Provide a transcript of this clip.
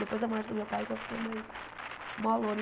Depois da morte do meu pai que eu fiquei mais molona.